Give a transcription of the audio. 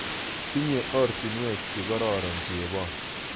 Tinye ortinwek chekororon chebon